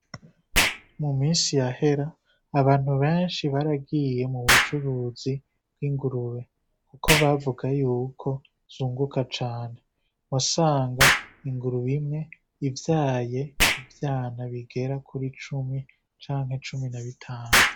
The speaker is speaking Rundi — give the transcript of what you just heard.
Mu misi yahera abantu benshi baragiye mu bucuruzi bw'ingurube, kuko bavuga yuko zunguka cane. Wasanga ingurube imwe ivyaye ivyana bigera kuri cumi canke cumi na bitanu.